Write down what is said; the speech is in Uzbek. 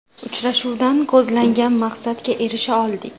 Uchrashuvdan ko‘zlangan maqsadga erisha oldik.